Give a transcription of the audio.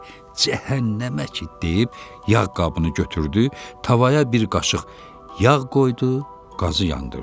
Ürəyində cəhənnəməki deyib yağ qabını götürdü, tavaya bir qaşıq yağ qoydu, qazı yandırdı.